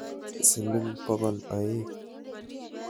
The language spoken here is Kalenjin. Siling bokol aeng'.